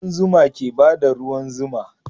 Kudan zuma ke bada ruwan zuma